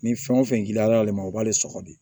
Ni fɛn o fɛn giriyala ale ma o b'ale sɔgɔ de